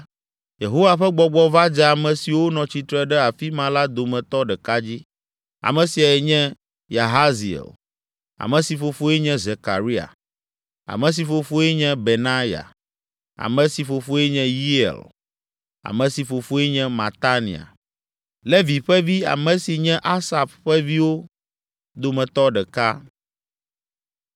Yehowa ƒe Gbɔgbɔ va dze ame siwo nɔ tsitre ɖe afi ma la dometɔ ɖeka dzi. Ame siae nye Yahaziel, ame si fofoe nye Zekaria, ame si fofoe nye Benaya, ame si fofoe nye Yeiel, ame si fofoe nye Matania, Levi ƒe vi, ame si nye Asaf ƒe viwo dometɔ ɖeka.